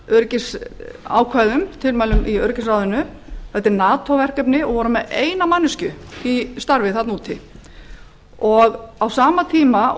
öryggisákvæðum tilmælum í öryggisráðinu um er að ræða nato verkefni og var ein manneskja á okkar vegum við friðargæslu í írak á sama tíma